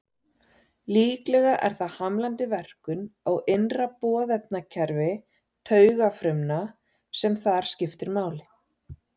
Líklega er það hamlandi verkun á innra boðefnakerfi taugafrumna sem þar skiptir máli.